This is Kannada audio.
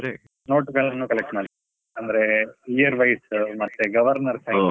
note ಗಳ್ಳನ್ನು collect ಮಾಡ್ತೇನೆ, ಅಂದ್ರೆ year wise ಮತ್ತೆ Governor sided .